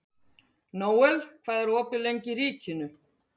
Nóel, hvað er opið lengi í Ríkinu?